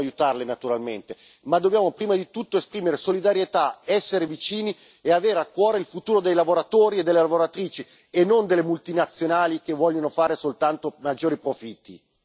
In secondo luogo, noi queste imprese dobbiamo aiutarle, naturalmente, ma dobbiamo prima di tutto esprimere solidarietà, essere vicini e avere a cuore il futuro dei lavoratori e delle lavoratrici, e non delle multinazionali che vogliono fare soltanto maggiori profitti.